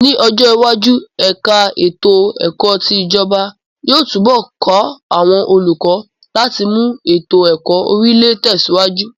Ní ọjọ iwájú, ẹ̀ka ètò ẹ̀kọ́ ti ijọba yóò túnbọ̀ ká àwọn olùkọ láti mú ètò ẹ̀kọ́ Orílẹ̀ tẹsiwaju